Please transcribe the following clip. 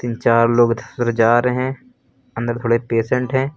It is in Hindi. चार लोग जा रहे हैं अंदर थोड़े पेशेंट हैं।